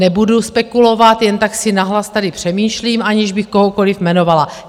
Nebudu spekulovat, jen tak si nahlas tady přemýšlím, aniž bych kohokoliv jmenovala.